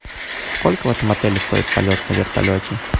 сколько в этом отеле стоит полет на вертолете